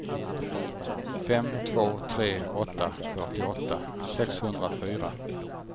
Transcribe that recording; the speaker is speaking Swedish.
fem två tre åtta fyrtioåtta sexhundrafyra